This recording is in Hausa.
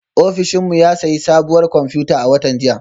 Ofishin mu ya sayi sabuwar kwamfuta a watan jiya